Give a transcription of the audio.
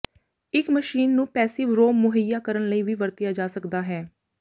ਇੱਕ ਮਸ਼ੀਨ ਨੂੰ passive ROM ਮੁਹੱਈਆ ਕਰਨ ਲਈ ਵੀ ਵਰਤਿਆ ਜਾ ਸਕਦਾ ਹੈ